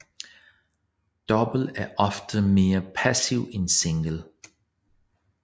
Double er ofte mere passivt end single